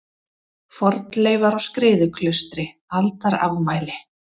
Fornleifar á Skriðuklaustri Aldarafmæli.